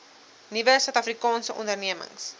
nuwe suidafrikaanse ondernemings